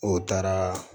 O taara